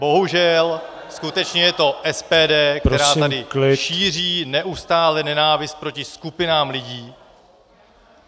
Bohužel skutečně je to SPD -- která tady šíří neustále nenávist proti skupinám lidí.